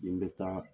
Nin bɛ taa